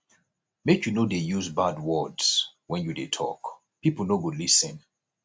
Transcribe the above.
make you no dey use bad words wen you dey tok pipo no go lis ten